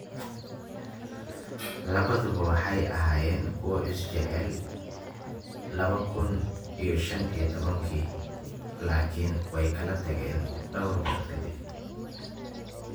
Labaduba waxay ahaayeen kuwo is jecel lawa kuun iyo shaan iyo tobaanki laakiin way kala tageen dhawr bilood ka dib.